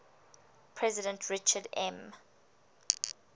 president richard m